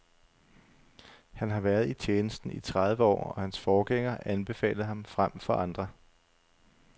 Han har været i tjenesten i tredive år, og hans forgænger anbefalede ham frem for andre.